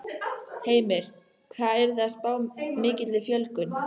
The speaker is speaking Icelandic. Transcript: Heimir: Hvað eruð þið að spá mikilli fjölgun?